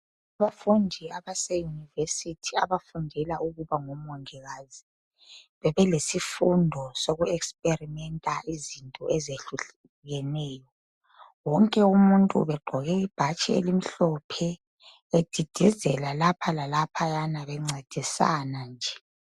Abafundi abaseyunivesithi abafundela ukuba ngomongikazi bebelesifundo soku experimenter izinto ezitshiyeneyo . Wonke umuntu ubegqoke ibhatshi elimhlophe edidizela lapha lalaphayana bencedisana nje.